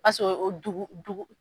Paseke o dugu dugu